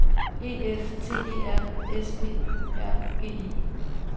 E F T E R S P Ø R G E